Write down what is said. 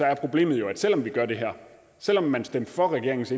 er problemet jo at selv om vi gør det her selv om man stemte for regeringens